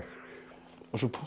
og svo